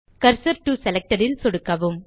cursor to selected ல் சொடுக்கவும்